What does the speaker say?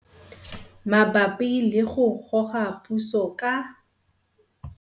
Mabapi le go Goga Puso ka